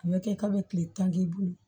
A bɛ kɛ kalo tile tan k'i bolo